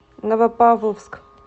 новопавловск